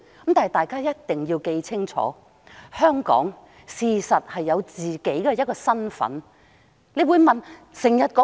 不過，大家必須緊記，香港事實上是有自己的身份認同的。